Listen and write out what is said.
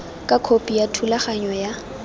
ka khopi ya thulaganyo ya